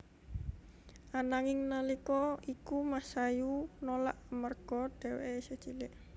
Ananging nalika iku Masayu nolak amarga dheweké isih cilik